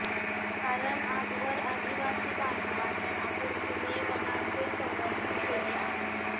कारण आजवर आदिवासी बांधवांनी आपुलकीने वनांचे संवर्धन केले आहे